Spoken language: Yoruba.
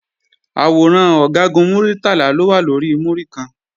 Àwòrán Ọ̀gágun Muritala ló wà lórí múríkan